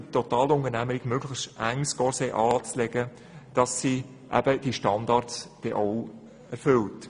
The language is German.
Den Totalunternehmen soll ein möglichst enges Korsett angezogen werden, damit sie diese Forderungen erfüllen.